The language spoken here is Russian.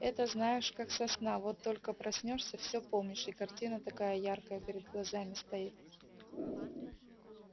это знаешь как со сна вот только проснёшься все помнишь и картина такая яркая перед глазами стоит